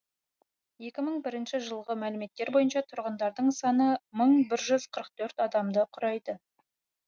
екі мың бірінші жылғы мәліметтер бойынша тұрғындарының саны мың бір жүз қырық төрт адамды құрайды